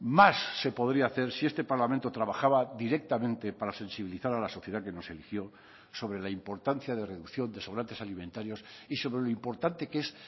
más se podría hacer si este parlamento trabajaba directamente para sensibilizar a la sociedad que nos eligió sobre la importancia de reducción de sobrantes alimentarios y sobre lo importante que es